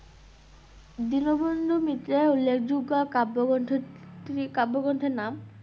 দীনবন্ধু মিত্রের উল্লেখযোগ্য কাব্যগ্রন্থ -টি কাব্যগ্রন্থের নাম?